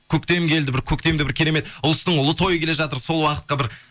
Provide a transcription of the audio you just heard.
көктем келді бір көктемде бір керемет ұлыстың ұлы тойы келе жатыр сол уақытқа бір